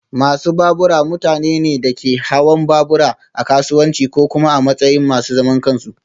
Masu babura mutane ne da ke hawan babura a kasuwanci ko kuma a matsayin masu zaman kansu